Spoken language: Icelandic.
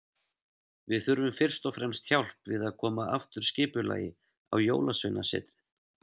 Við þurfum fyrst og fremst hjálp við að koma aftur skipulagi á Jólasveinasetrið.